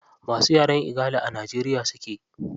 Masu yaren igala a najeriya suke.